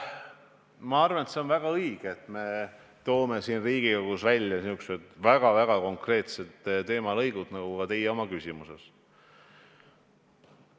Ma arvan, et on väga õige, et toome Riigikogus välja niisugused väga konkreetsed teemalõigud, nagu teie oma küsimuses tõite.